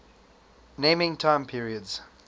naming time periods